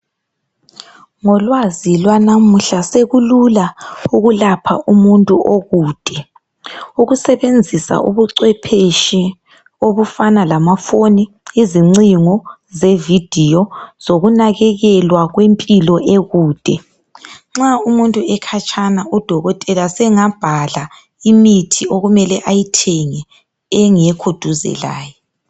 Ngolwazi lwanamuhla sekulula ukulapha umuntu okude ukusebenzisa ubucwepheshi obufana lamafoni izincingo zevidiyo zokunakelelwa kwempilo ekude. Nxa umuntu ekhatshana udokotela sengabhala imithi okumele ayithenge engekho eduze laye.